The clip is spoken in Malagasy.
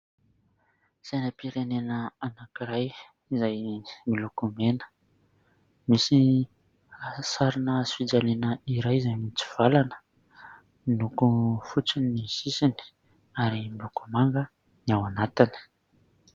Sainam-pirenena anankiray izay miloko mena, misy sarina hazofijaliana iray izay mitsivalana miloko fotsy ny sisiny ary miloko manga ny ao anatiny.